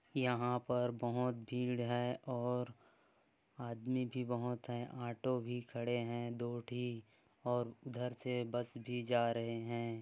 यहाँ पर बहोत भीड़ है और आदमी भी बहुत है ऑटो भी खड़े है दो ठी और उधर से बस भी जा रहे है।